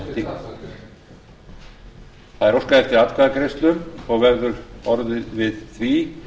lengt það er óskað eftir atkvæðagreiðslu og verður orðið við því